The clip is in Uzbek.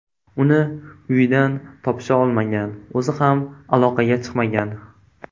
Uni uyidan topisha olmagan, o‘zi ham aloqaga chiqmagan.